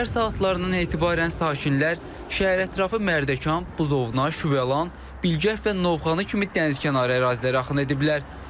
Səhər saatlarından etibarən sakinlər şəhərətrafı Mərdəkan, Buzovna, Şüvəlan, Bilgəh və Novxanı kimi dənizkənarı ərazilərə axın ediblər.